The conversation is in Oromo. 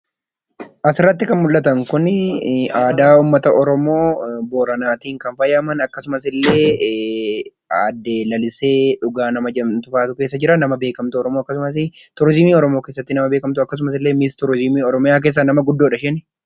Asirratti kan mul'atan kunii aadaa uummata oromoo booranaaatiin kan faayaman akkasumasillee aadde Lalisee Dhugaa nama jedhamtufaatu keessa jiraa. Nama beekkatuu oromoo akkasumasi turizimii oromoo nama beekkamatuu akkasumasillee misturizimii keessaa nama guddoodha isheen.